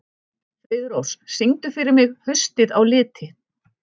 Friðrós, syngdu fyrir mig „Haustið á liti“.